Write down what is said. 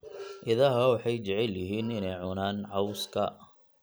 Idaha waxay jecel yihiin inay cunaan cawska.